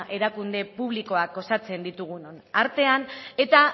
erakunde publikoak osatzen ditugunon artean eta